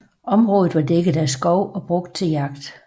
Området var dækket af skov og brugt til jagt